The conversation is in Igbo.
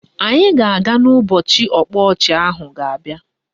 Anyị ga-aga ụbọchị ọkpa ọchị ahụ ga-abịa